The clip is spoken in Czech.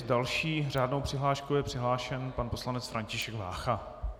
S další řádnou přihláškou je přihlášen pan poslanec František Vácha.